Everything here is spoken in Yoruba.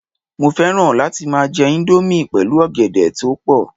Mo fẹ́ràn láti jẹ índómì pẹ̀lú ọ̀gẹ̀dẹ̀ toepo